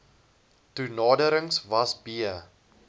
toenaderings was b